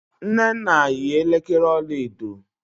nnenna yi elekere ọla edo.